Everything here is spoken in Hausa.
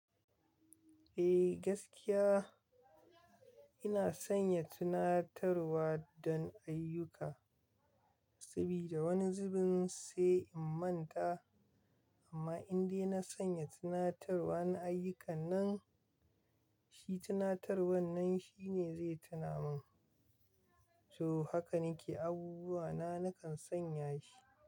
Eh gaskiya ina sanya tunatarwa don ayyuka sabida wani zubin sai in manta amma indai na sanya tunatarwar na ayyukan nan, shi tunatarwar nan shi ne zai tuna min. To haka nake abubuwa na nakan sanya shi.